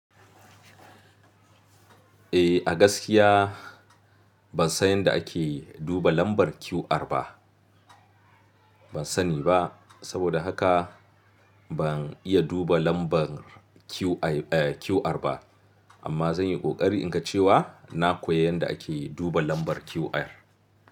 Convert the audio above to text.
Eh, a gaskiya ban san yadda ake duba lambar QR ba. Ban sani ba, saboda haka ban iya duba lambar QR ba. Amma zan yi ƙoƙari in ka ce wa na koyi yadda ake duba lambar QR.